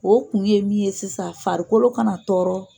O kun ye min ye sisan farikolo kana tɔɔrɔ.